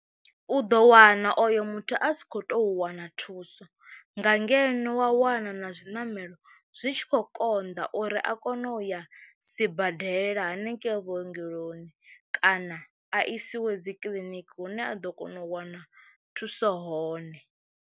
U ḓo wana oyo muthu a si khou tou wana thuso nga ngeno wa wana na zwiṋamelo zwi tshi khou konḓa uri a kone u ya sibadela hanengei vhuongeloni kana a isiwe dzi kiḽiniki hune a ḓo kona u wana thuso hone.